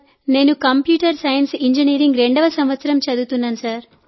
నేను computer science engineering రెండో సంవత్సరం చదువుతున్నాను సార్